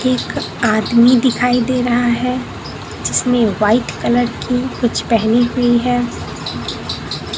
एक आदमी दिखाई दे रहा है जिसने व्हाइट कलर की कुछ पहनी हुई है।